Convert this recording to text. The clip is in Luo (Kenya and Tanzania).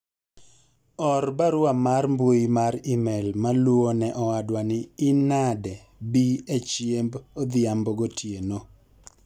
or barua mar mbui mar email maluwo ne owadwa ni in nade bii e chiemb odhimabo gotieno